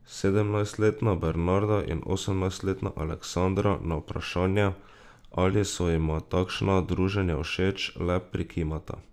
Sedemnajstletna Bernarda in osemnajstletna Aleksandra na vprašanje, ali so jima takšna druženja všeč, le prikimata.